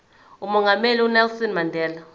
umongameli unelson mandela